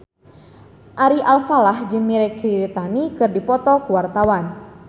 Ari Alfalah jeung Mirei Kiritani keur dipoto ku wartawan